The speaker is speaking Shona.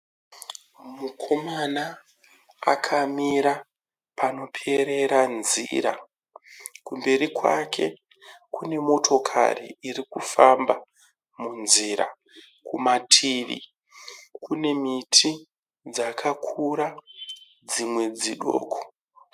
Mukomana akamira panoperera nzira. Kumberi kwake kune motokari iri kufamba munzira. Kumativi kune miti dzakakura dzimwe dzidoko.